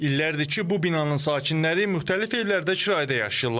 İllərdir ki, bu binanın sakinləri müxtəlif evlərdə kirayədə yaşayırlar.